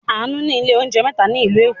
Àánú ní ilé-oúnjẹ mẹ́ta ní ìlú Èkó.